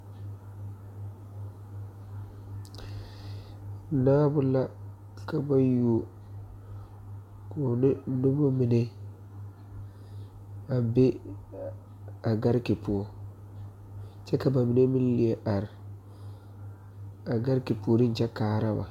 Naabo la ka ba yuo koo ne nobɔ mine a be a gariki poɔ kyɛ ba mine meŋ liɛ are a gariki puoriŋ kyɛ kaara ba.